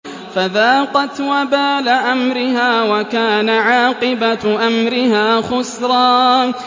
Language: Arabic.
فَذَاقَتْ وَبَالَ أَمْرِهَا وَكَانَ عَاقِبَةُ أَمْرِهَا خُسْرًا